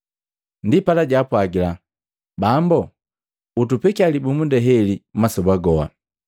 Ndipala jaapwagila, “Bambo, utupekia libumunda heli masoba goha.”